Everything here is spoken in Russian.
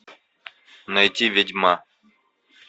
найти ведьма